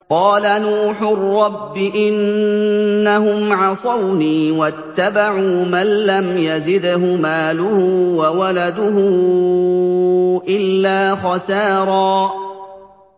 قَالَ نُوحٌ رَّبِّ إِنَّهُمْ عَصَوْنِي وَاتَّبَعُوا مَن لَّمْ يَزِدْهُ مَالُهُ وَوَلَدُهُ إِلَّا خَسَارًا